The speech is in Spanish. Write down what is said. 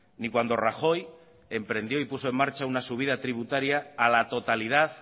ni cuando rajoy emprendió y puso en marcha una subida tributaria a la totalidad